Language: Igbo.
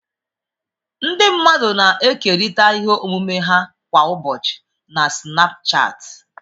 Ndị mmadụ na-ekerịta ihe omume ha kwa ụbọchị na Sinapuchati.